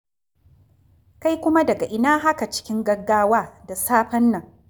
Kai kuma daga ina haka cikin gaggawa da safen nan?